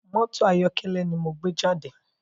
Mọ́tò ayọ̀kẹ́lẹ́ náà ni mo gbé jáde